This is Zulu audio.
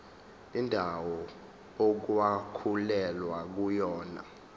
indawo okwakulwelwa kuyona